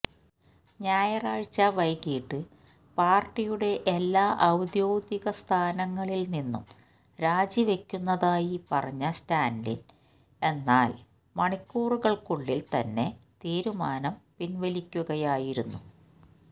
ഞായറാഴ്ച വൈകീട്ട് പാര്ട്ടിയടെ എല്ലാ ഔദ്യോഗിക സ്ഥാനങ്ങളിലും നിന്നും രാജിവയ്ക്കുന്നതായി പറഞ്ഞ സ്റ്റാലിന് എന്നാൽ മണിക്കൂറുകള്ക്കുള്ളില് തന്നെ തീരുമാനം പിന്വലിക്കുകയായിരുന്നു